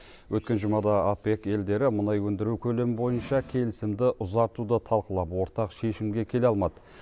өткен жұмада опек елдері мұнай өндіру көлемі бойынша келісімді ұзартуды талқылап ортақ шешімге келе алмады